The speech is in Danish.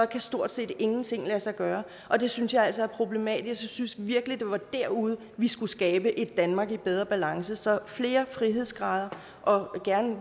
kan stort set ingenting lade sig gøre og det synes jeg altså er problematisk jeg synes virkelig at det var derude vi skulle skabe et danmark i bedre balance så flere frihedsgrader og